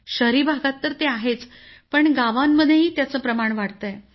शहरी भागात तर ते आहेच पण गावांमध्येही त्याचं प्रमाण वाढतंय